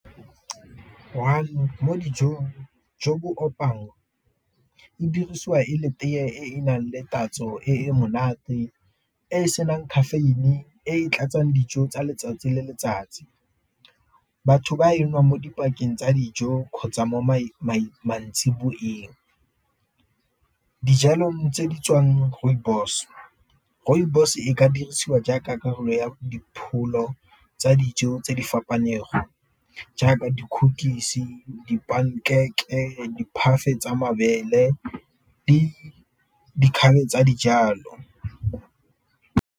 mo dijong jo bo opang e dirisiwa e le tee e e nang le tatso e monate e e senang caffeine, e tlatsang dijo tsa letsatsi le letsatsi. Batho ba e nwang mo dipakeng tsa dijo kgotsa mo maitseboeng. Dijalong tse di tswang rooibos, rooibos e ka dirisiwa jaaka karolo ya dipholo tsa dijo tse di fapaneng go jaaka tsa mabele le tsa dijalo.